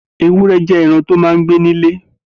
Éwùrẹ̀ jẹ̀ ẹran tó mà n gbé nilé